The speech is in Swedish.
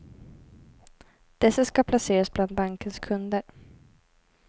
Dessa ska placeras bland bankens kunder.